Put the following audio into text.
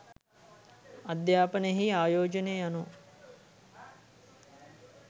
අධ්‍යාපනයෙහි ආයෝජනය යනු